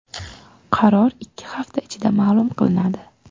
Qaror ikki hafta ichida ma’lum qilinadi.